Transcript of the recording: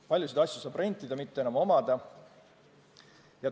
Paljusid asju saab rentida, neid ei pea omama.